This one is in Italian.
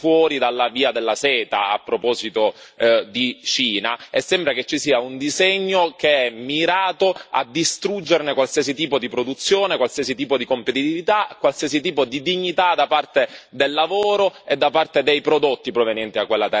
Peraltro, il Sud Italia è stato tagliato fuori dalla Via della Seta, a proposito di Cina, e sembra che ci sia un disegno che è mirato a distruggerne qualsiasi tipo di produzione, qualsiasi tipo di competitività, qualsiasi tipo di dignità da parte del lavoro e da parte dei prodotti provenienti da quella terra.